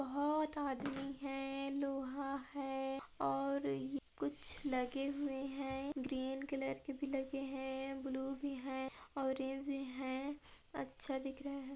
बहुत आदमी है लोहा है और ये कुछ लगे हुए है ग्रीन कलर के भी लगे है ब्लू भी है ऑरेंज भी है अच्छे दिख--